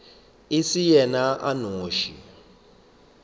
e se yena a nnoši